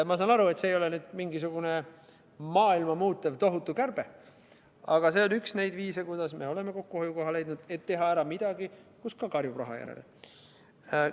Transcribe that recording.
Ma saan aru, et see ei ole maailma muutev tohutu kärbe, aga see on üks neid viise, kuidas me oleme leidnud kokkuhoiukoha, et teha ära midagi kusagil, kus samuti karjub raha järele.